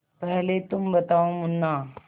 पहले तुम बताओ मुन्ना